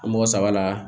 Mɔgɔ saba la